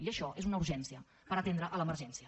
i això és una urgència per atendre l’emergència